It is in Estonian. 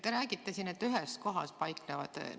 Te räägite, et paiknevad ühes kohas.